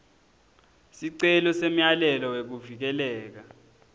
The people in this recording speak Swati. sicelo semyalelo wekuvikeleka